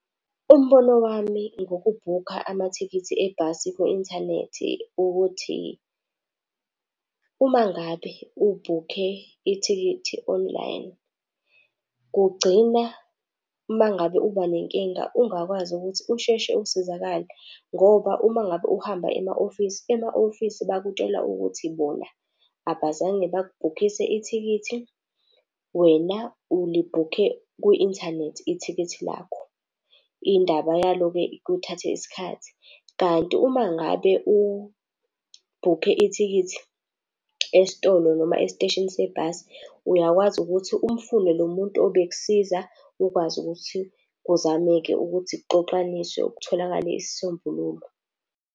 Umbono wami ngokubhukha amathikithi ebhasi ku-inthanethi ukuthi uma ngabe ubhukhe ithikithi online, kugcina uma ngabe uba nenkinga ungakwazi ukuthi usheshe usizakale. Ngoba uma ngabe uhamba ema-ofisi, ema-ofisi bakutshela ukuthi bona abazange bakubhukhise ithikithi, wena ulibhukhe kwi-inthanethi ithikithi lakho. Indaba yalo-ke kuthathe isikhathi. Kanti uma ngabe ubhukhe ithikithi esitolo noma esiteshini sebhasi uyakwazi ukuthi umfune lo muntu obekusiza, ukwazi ukuthi kuzameke ukuthi kuxoxaniswe kutholakale isisombululo.